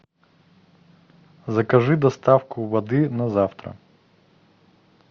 закажи доставку воды на завтра